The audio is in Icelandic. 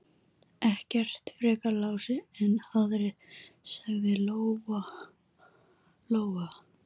Ekkert frekar Lási en aðrir, sagði Lóa Lóa.